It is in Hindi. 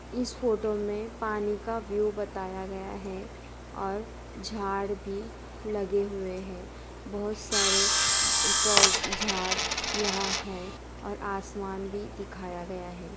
इस फोटो मे पानी का व्यू बताया गया है और झाड़ भी लगे हुए हैं बहोत सारे द पो झाड़ यहाँ हैं और आसमान भी दिखाया गया है।